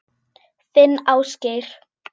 Þinn Ásgeir.